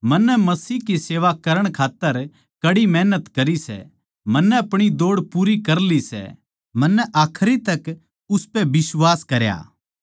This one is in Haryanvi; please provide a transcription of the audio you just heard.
मन्नै मसीह की सेवा करण खात्तर कड़ी मेहनत करी सै मन्नै अपणी दौड़ पूरी कर ली सै मन्नै आखरी तक उसपै बिश्वास करया